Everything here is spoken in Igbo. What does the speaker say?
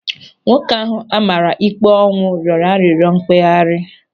Nwoke ahụ a mara ikpe ọnwụ rịọrọ arịrịọ mkpeghari.